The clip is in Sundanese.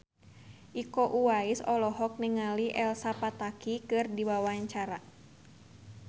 Iko Uwais olohok ningali Elsa Pataky keur diwawancara